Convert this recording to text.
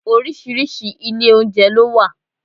Oríṣiríṣi ilé oúnjẹ ló wà.